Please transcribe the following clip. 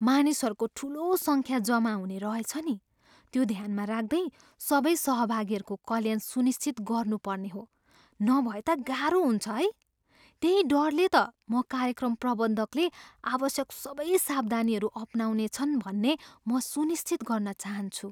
मानिसहरूको ठुलो सङ्ख्या जमा हुने रहेछ नि। त्यो ध्यानमा राख्दै, सबै सहभागीहरूको कल्याण सुनिश्चित गर्नुपर्ने हो। नभए त गाह्रो हुन्छ है। त्यही डरले त म कार्यक्रम प्रबन्धकले आवश्यक सबै सावधानीहरू अपनाउनेछन् भन्ने म सुनिश्चित गर्न चाहन्छु।